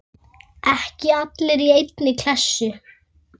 Ekki allir í einni kássu!